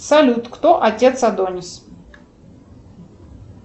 салют кто отец адонис